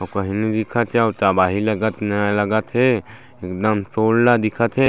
अउ कहीं नइ दिखत हे तबाही लगत हे न नाय लागत हे एकदम सोल्ड दिखत हे।